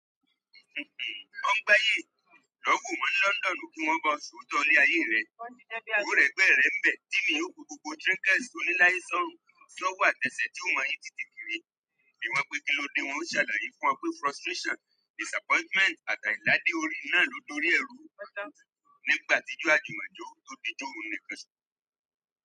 "Ọgbáyé! Lọ wo wọ́n ní London kí wọ́n máa ṣòótọ́ ilé ayé rẹ. O rẹgbẹ́rẹ́ rẹ ǹ bẹ Timi yóò gbó gbogbo trinkets tó ní láìsí sọ́wọ́ àtẹ́sẹ̀ tó máa yí tìtì kiri. Ìwọ̀n pé kí lódì wọ́n ó ṣàlàyé fún ọ pé frustration, disappointment àti aidadé orí náà ló dórí ẹrú nígbàti ijo àjùmọ̀jọ tó di ijo oun níkan soso."